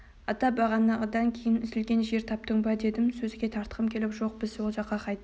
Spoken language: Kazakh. ата бағанағыдан кейін үзілген жер таптың ба дедім сөзге тартқым келіп жоқ біз ол жаққа қайтып